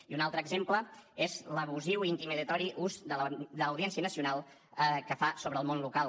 i un altre exemple és l’abusiu i intimidatori ús de l’audiència nacional que fa sobre el món local